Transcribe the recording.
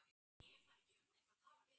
Á ég að trúa því?